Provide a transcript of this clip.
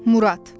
Murad.